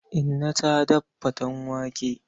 Inna ta daf faten wake.